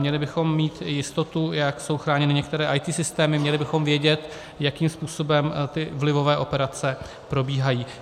Měli bychom mít jistotu, jak jsou chráněny některé IT systémy, měli bychom vědět, jakým způsobem ty vlivové operace probíhají.